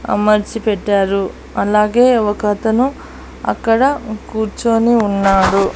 అమర్చి పెట్టారు అలాగే ఒక అతను అక్కడ కూర్చొని ఉన్నాడు.